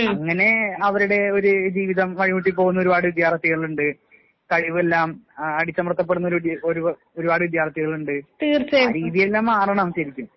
അങ്ങനെ അവരുടെ ഒര് ജീവിതം വഴിമുട്ടി പോവുന്ന ഒരുപാട് വിദ്യാർത്ഥികളുണ്ട്. കഴിവെല്ലാം ആഹ് അടിച്ചമർത്തപ്പെടുന്നൊരു ഒരു ഒരുപാട് വിദ്യാർത്ഥികളുണ്ട്. ആ രീതിയെല്ലാം മാറണം ശെരിക്കും.